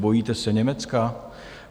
Bojíte se Německa?